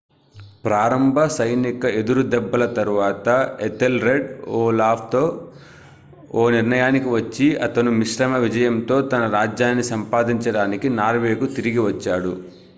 ప్రారంభ సైనిక ఎదురుదెబ్బల తరువాత ఎథెల్రెడ్ ఓలాఫ్తో ఓ నిర్ణయానికి వచ్చి అతను మిశ్రమ విజయంతో తన రాజ్యాన్ని సంపాదించడానికి నార్వేకు తిరిగి వచ్చాడు